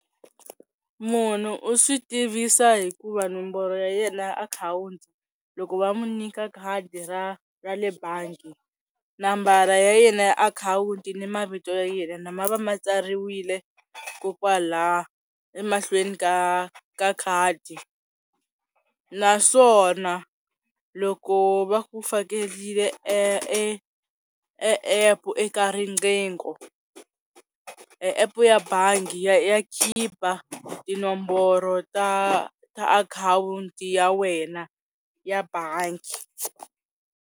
Munhu u swi tivisa hikuva nomboro ya yena akhawunti loko va mu nyika khadi ra ra le bangi nambara ya yena ya akhawunti ni mavito ya yena ma va ma tsariwile ko kwala emahlweni ka ka khadi naswona loko va ku fakelile epu eka riqhingho, epu ya bangi ya khipa tinomboro ta ta akhawunti ya wena ya bangi.